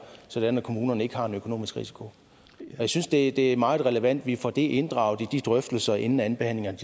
sådan at kommunerne ikke har den økonomiske risiko jeg synes det det er meget relevant at vi får det inddraget i de drøftelser inden andenbehandlingen af